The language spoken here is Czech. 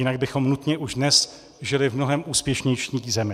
Jinak bychom nutně už dnes žili v mnohem úspěšnější zemi.